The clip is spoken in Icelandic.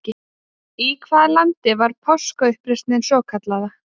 Í hvaða landi var Páskauppreisnin svokallaða?